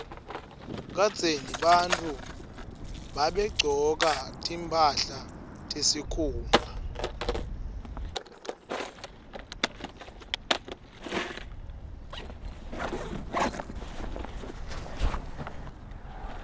kadzeni bantfu babegcoka timphahla tesikhumba